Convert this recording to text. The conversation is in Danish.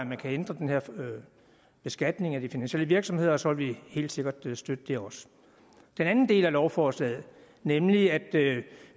man kan ændre den her beskatning af de finansielle virksomheder og så vil vi helt sikkert støtte det også den anden del af lovforslaget nemlig at